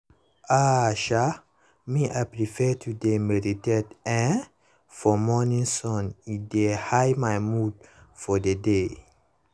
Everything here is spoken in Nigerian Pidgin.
ah um me i prefer to dey meditate[um]for morning sun e dey high my mood for the day